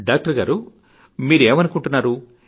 doctor గారూ మీరు ఏమనుకుంటున్నారో